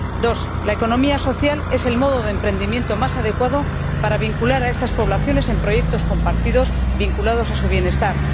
En segundo lugar, la economía social es el modo de emprendimiento más adecuado para vincular a estas poblaciones en proyectos compartidos relativos a su bienestar.